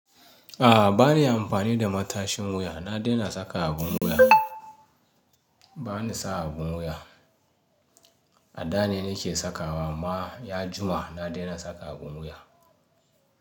A'a bani amfani da matashin wuya, na daina saka abin wuya. Bani sa abun wuya. A da ne nake sakawa amma ya juma na daina saka abun wuya.